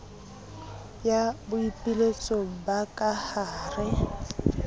ya boipiletso ba ka hare